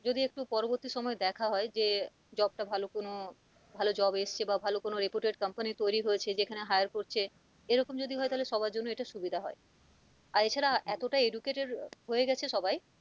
যদি একটু পরবর্তী সময়ে দেখে হয় যে job টা ভালো কোন ভালো job এসেছে বা ভালো কোন reputed company তৈরি হয়েছে যেখানে heir করছে এরকম যদি হয় তাহলে সবার জন্য এটা সুবিধা হয় আর এ ছাড়া এতটা educated আহ হয়েগেছে সবাই,